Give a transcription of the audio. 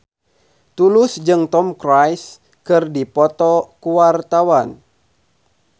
Tulus jeung Tom Cruise keur dipoto ku wartawan